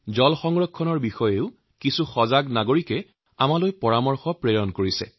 জলসংৰক্ষণৰ বিষয়ে একাংশ সচেতন নাগৰিকে মোলৈ পৰামৰ্শ প্ৰেৰণ কৰিছে